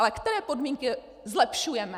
Ale které podmínky zlepšujeme?